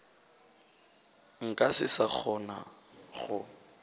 nka se sa kgona go